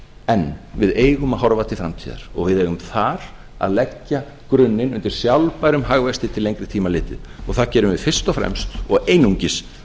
en við eigum að horfa til framtíðar og við eigum þar að leggja grunninn að sjálfbærum hagvexti til lengri tíma litið og það gerum við fyrst og fremst og einungis